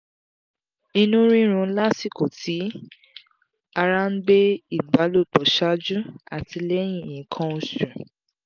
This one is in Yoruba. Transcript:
ìnu rirun lasiko ti ara n gbe ìbálòpọ̀ ṣáájú àti lẹ́yìn nkan osu